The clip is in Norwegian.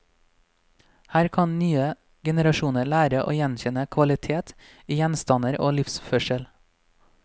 Her kan nye generasjoner lære å gjenkjenne kvalitet i gjenstander og livsførsel.